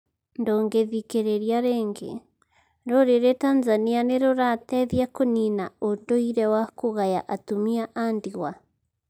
Ndũngĩthikĩrĩria rĩngĩ; Rũrĩrĩ Tanzania nĩrũrateĩthĩa kũnĩna ũndũire wa kũgaya atumia a ndĩgwa?